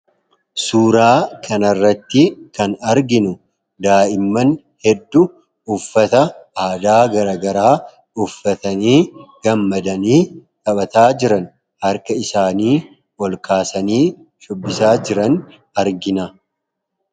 suuraa kanarratti kan arginu daa'imman hedduu uffata aadaa garagaraa uffatanii gammadanii dhaphataa jiran harka isaanii ol kaasanii shubbisaa jiran argina